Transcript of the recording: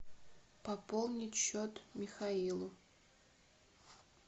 пополнить счет михаилу